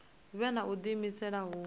vhe na u diimisela hu